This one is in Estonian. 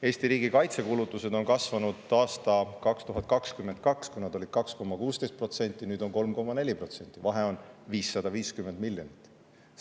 Eesti riigi kaitsekulutused on kasvanud, aastal 2022 olid need 2,16%, nüüd on 3,4%, vahe on 550 miljonit eurot.